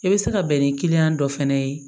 I bɛ se ka bɛn ni kiliyan dɔ fana ye